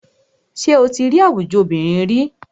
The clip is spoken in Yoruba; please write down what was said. Ṣé o tí rí àwùjọ obìnrin ríi?